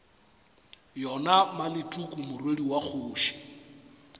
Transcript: yona maleteku morwedi wa kgoši